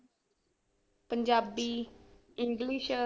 Punjabi english